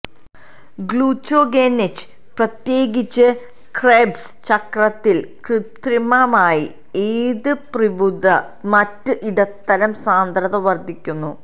ഗ്ലുചൊഗെനിച് പ്രത്യേകിച്ച് ക്രെബ്സ് ചക്രത്തിൽ കൃത്രിമമായി ഏത് പ്യ്രുവതെ മറ്റ് ഇടത്തരം സാന്ദ്രത വർദ്ധിക്കുന്നു